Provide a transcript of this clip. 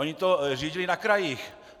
Oni to řídili na krajích.